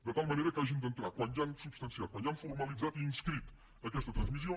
de tal manera que hagin d’entrar quan ja han substanciat quan ja han formalitzat i inscrit aquesta transmissió